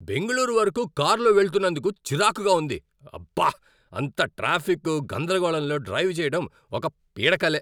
బెంగళూరు వరకు కారులో వెళ్తునందుకు చిరాకుగా ఉంది, అబ్బా! అంత ట్రాఫిక్, గందరగోళంలో డ్రైవ్ చెయ్యడం ఒక పీడకలే!